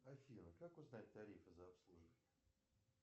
афина как узнать тарифы за обслуживание